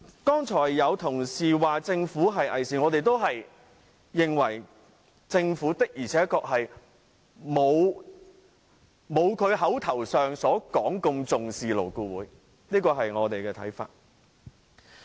剛才有同事說政府偽善，我們也認為政府的確不如其所聲稱般重視勞顧會，這是我們的看法。